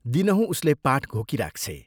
दिनहुँ उसले पाठ घोकिराख्छे।